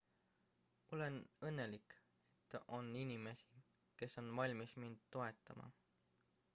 olen õnnelik et on inimesi kes on valmis mind toetama